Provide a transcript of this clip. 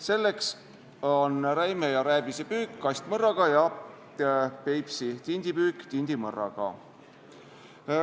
Selleks on räime ja rääbise püük kastmõrraga ja Peipsi tindi püük tindimõrraga.